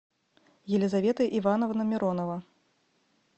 елизавета ивановна миронова